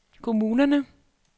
kommunerne